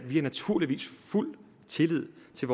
fuld tillid til